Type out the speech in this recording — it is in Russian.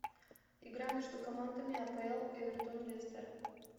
игра между командами апл эвертон лестер